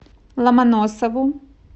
ломоносову